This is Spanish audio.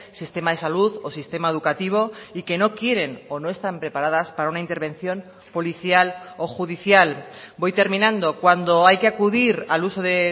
sistema de salud o sistema educativo y que no quieren o no están preparadas para una intervención policial o judicial voy terminando cuando hay que acudir al uso de